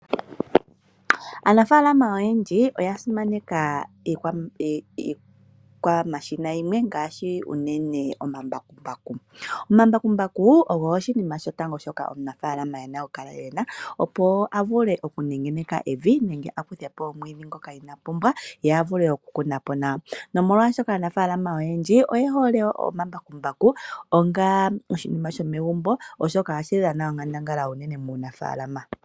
Aanafaalama oyendji oya simaneka ikwamashina yimwe ngaashi unene omambakumbaku. Omambakumbaku ogo oshinima shotango omunafaalama ena okukala ena opo avule okungeneka evi nenge akuthepo omwiidhi ngoka ina pumbwa yee avule okukunapo. Nomolwaashoka aanafaalama oyendji oyehole omambakumbaku onga oshinima sho megumbo oshoka ohashi dhana onkandambala muunafaalama.